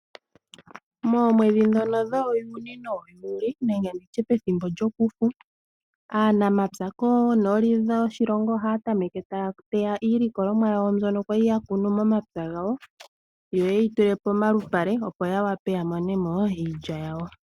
Moomwedhi dhono dhoo juni noo juuli nenge nditye pethimbo lyokufu aanamapya koonooli dhoshilingo ohaa tameke taa teya iilikolomwa yawo ndjono kwali yakunu momapya gawo yo yeyi tule pomalupale opo yawape yamonemo iilya yawo.